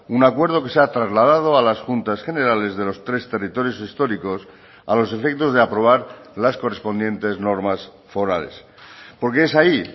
un acuerdo que se ha trasladado a las juntas generales de los tres territorios históricos a los efectos de aprobar las correspondientes normas forales porque es ahí